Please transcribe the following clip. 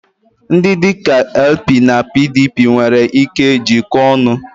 Ndị dị ka LP na PDP nwere ike jikoo ọnu.